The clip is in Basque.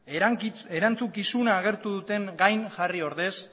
erantzukizuna agertu dutenen gain jarri ordez